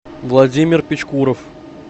владимир пичкуров